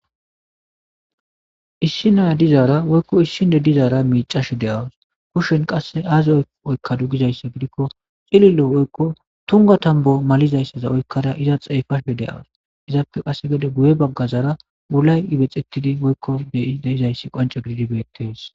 issi naya dizaara woykko issi ne dizaara miicash de7awus kushshen qasse aaze oykka du gizayssa gidikko xililo woykko tunga tambo malizayssaza oykkara iza xeefashe deawus izaappe qasse gede guye baggazara wulay ibexittidi woykko deizayssi qonce gididi bettees